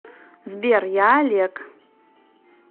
сбер я олег